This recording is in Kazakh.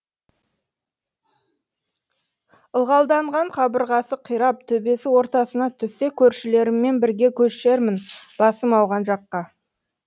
ылғалданған қабырғасы қирап төбесі ортасына түссе көршілеріммен бірге көшермін басым ауған жаққа